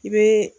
I bɛ